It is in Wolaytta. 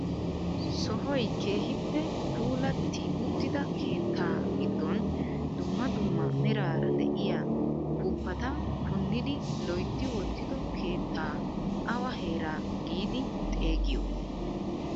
Sohoy keehippe xeellanawu keehippe puulatti uttida keettaa giddon dumma dumma meraara de'iyaa upuupata punnidi loytti wottido keettaa awa heeraa giidi xeegiyo?